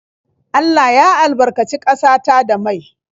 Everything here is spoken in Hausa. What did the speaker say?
Allah ya albarkaci ƙasa ta da mai.